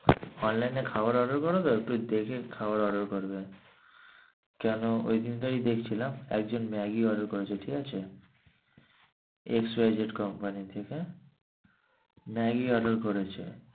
online এ খাবার order করো তো একটু দেখে খাবার order করবে। কেন ওই দিনকে আমি দেখছিলাম একজন maggi order করছে ঠিক আছে। X Y Z comany থেকে maggi order করেছে।